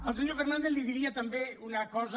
al senyor fernàndez li diria també una cosa